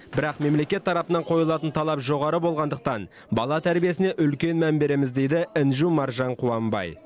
бірақ мемлекет тарапынан қойылатын талап жоғары болғандықтан бала тәрбиесіне үлкен мән береміз дейді інжу маржан қуанбай